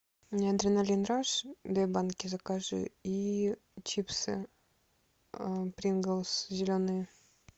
мне адреналин раш две банки закажи и чипсы принглс зеленые